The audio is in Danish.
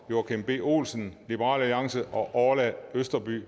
joachim b olsen og orla østerby